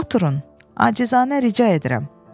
Oturun, acizanə rica edirəm.